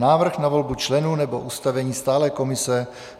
Návrh na volbu členů nebo ustavení stálé komise